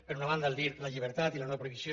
per una banda dir la llibertat i la no prohibició